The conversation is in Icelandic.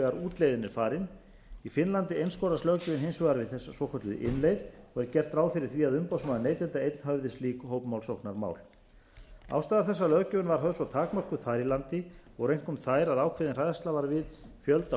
útleiðin er farin í finnlandi einskorðast löggjöfin hins vegar við hina svokölluðu innleið og er gert ráð fyrir því að umboðsmaður neytenda einn höfði slík hópmálsóknarmál ástæður þess að löggjöfin var höfð svo takmörkuð þar í landi voru einkum þær að ákveðin hræðsla var við